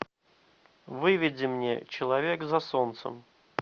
выведи мне человек за солнцем